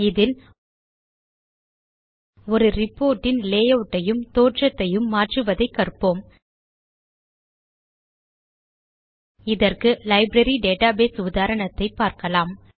இதில் ஒரு ரிப்போர்ட் இன் லேயூட் ஐயும் தோற்றத்தையும் மாற்றுவதைக் கற்போம் இதற்கு லைப்ரரி டேட்டாபேஸ் உதாரணத்தை பார்க்கலாம்